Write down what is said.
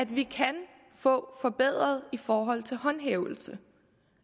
vi kan få forbedret i forhold til håndhævelsen